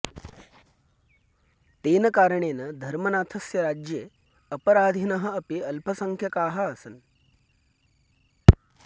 तेन कारणेन धर्मनाथस्य राज्ये अपराधिनः अपि अल्पसङ्ख्यकाः आसन्